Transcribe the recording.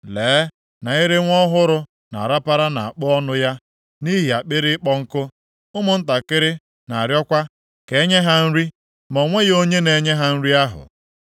Lee na ire nwa ọhụrụ na-arapara nʼakpo ọnụ ya nʼihi akpịrị ịkpọ nkụ. Ụmụntakịrị na-arịọkwa ka e nye ha nri, ma o nweghị onye na-enye ha nri ahụ.